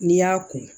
N'i y'a ko